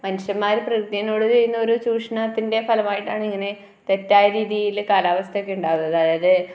മനുഷ്യന്മാര് പ്രകൃതിനോട് ചെയ്യുന്ന ഒരു ചൂഷണത്തിന്റെ ഫലമായിട്ടാണ് ഇങ്ങനെ തെറ്റായ രീതിയില് കാലാവസ്ഥകാലുണ്ടാവുന്നത് അതായത്